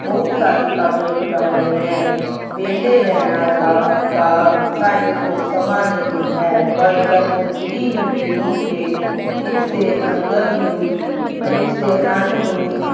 ਬਹੁਤ ਸਾਰੇ ਕੰਮ ਨਿਪਟਾਣੇ ਹੈ ਵਿਹਲੇ ਰਹਿਣਾ ਤਾਂ ਦਾ ਸਾਡੇ ਕੋਲ ਸਮਾਂ ਨਹੀਂ ਹੈ ਪਰ ਜਦ ਜਿੰਦਗੀ ਨੂੰ ਜਿਉਣ ਤੇ ਇਸ ਦੇ ਅੰਦਰ ਨੂੰ ਇਸ ਦੇ ਆਨੰਦ ਨੂੰ